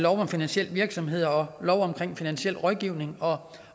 om finansiel virksomhed og lov om finansiel rådgivning og